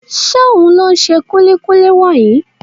Ṣóhun ló ṣe kúlíkúlí wọ̀nyí?